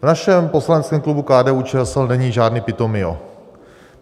V našem poslaneckém klubu KDU-ČSL není žádný Pitomio.